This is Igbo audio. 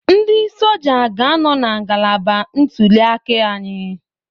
Ndị Soja ga-anọ na ngalaba ntulịaka anyị